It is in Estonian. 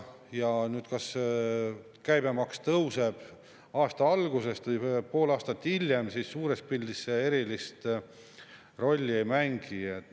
Ja see, kas käibemaks tõuseb aasta algusest või pool aastat hiljem, suures pildis erilist rolli ei mängi.